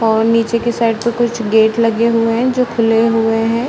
और नीचे के साइड पे कुछ गेट लगे हुए हैं जो खुले हुए हैं ।